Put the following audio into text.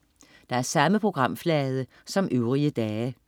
Samme programflade som øvrige dage